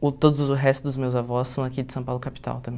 uh todos os restos dos meus avós são daqui de São Paulo capital